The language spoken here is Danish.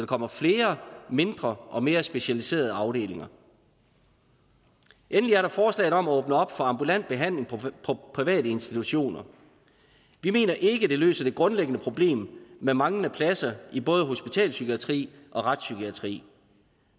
kommer flere mindre og mere specialiserede afdelinger endelig er der forslaget om at åbne op for ambulant behandling på private institutioner vi mener ikke det løser det grundlæggende problem med manglende pladser i både hospitalspsykiatri og retspsykiatri